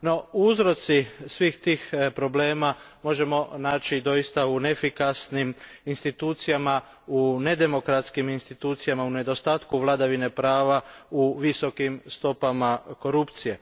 No, uzroke svih tih problema možemo naći doista u neefikasnim institucijama, u nedemokratskim institucijama, u nedostatku vladavine prava, u visokim stopama korupcije.